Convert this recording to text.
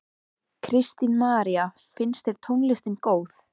Kristín María: Finnst þér tónlistin góð?